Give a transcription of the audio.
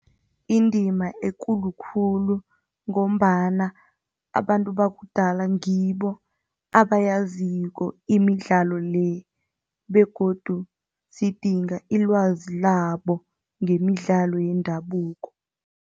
Indima ekulu khulu ngombana abantu bakudala ngibo abayaziko imidlalo le begodu sidinga ilwazi labo ngemidlalo yendabuko.